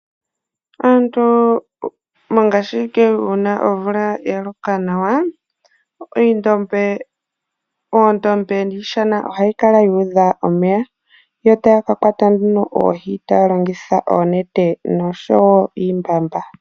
Aantu mongashingeyi uuna omvula ya loka nawa, oondombe niishana ohayi kala yuudha omeya, yo taya kakwata nee oohi taya longitha oonete nosho woo iimbamba.